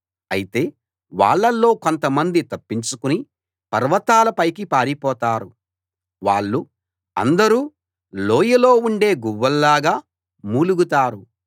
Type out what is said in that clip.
అయితే వాళ్ళలో కొంతమంది తప్పించుకుని పర్వతాల పైకి పారిపోతారు వాళ్ళు అందరూ లోయలో ఉండే గువ్వల్లాగా మూలుగుతారు